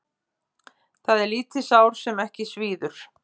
Það er lítið sár sem ekki svíður.